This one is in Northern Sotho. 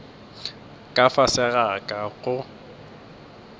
ka fase ga ka go